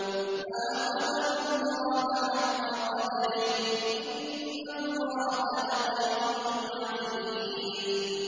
مَا قَدَرُوا اللَّهَ حَقَّ قَدْرِهِ ۗ إِنَّ اللَّهَ لَقَوِيٌّ عَزِيزٌ